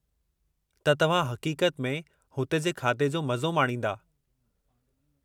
त तव्हां हक़ीक़त में हुते जे खादे जो मज़ो माणींदा।